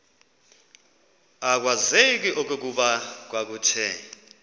akwazeki okokuba kwakuthe